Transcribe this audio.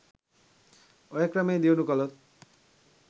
ඔය ක්‍රමේ දියුණූ කලොත්